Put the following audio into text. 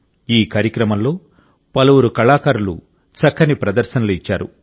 ఈ కార్యక్రమంలో పలువురు కళాకారులు చక్కని ప్రదర్శనలు ఇచ్చారు